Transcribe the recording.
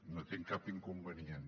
no hi tinc cap inconvenient